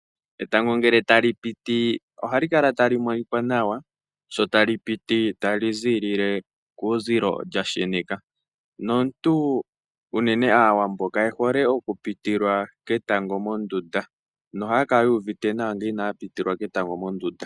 Etango ngele tali piti, ohali kala tali monika nawa sho tali piti tali zilile kuuzilo lyasheneka. Naantu unene Aawambo kaye hole okupitilwa ketango mondunda, nohaya kala yu uvite nawa ngele inaya pitilwa ketango mondunda.